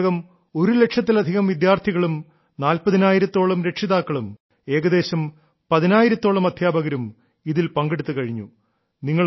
ഇതിനകം ഒരുലക്ഷത്തിലധികം വിദ്യാർത്ഥികളും നാല്പ്പതിനായിരത്തോളം രക്ഷിതാക്കളും ഏകദേശം പതിനായിരത്തോളം അദ്ധ്യാപകരും ഇതിൽ പങ്കെടുത്തു കഴിഞ്ഞു